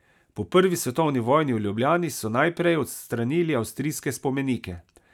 Po prvi svetovni vojni v Ljubljani so najprej odstranili avstrijske spomenike.